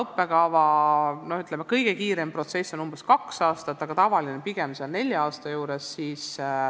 Praegu kestab kõige kiirem õppekavaprotsess umbes kaks aastat, aga tavaline on pigem neli aastat.